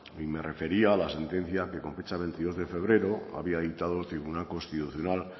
y me refería a la sentencia que con fecha de veintidós de febrero había dictado el tribunal constitucional